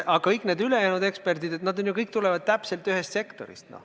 Aga kõik need ülejäänud eksperdid tulevad ju ühest sektorist.